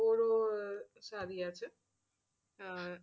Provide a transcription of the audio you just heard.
ওরও সাদি আছে।